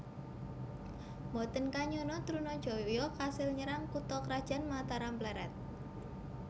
Mboten kanyana Trunajaya kasil nyerang kutha krajan Mataram Plered